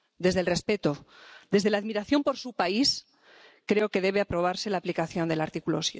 Desde el respeto, desde la admiración por su país, creo que debe aprobarse la aplicación del artículo